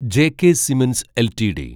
J K cements LTD